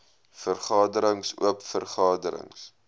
vergaderings oop vergaderings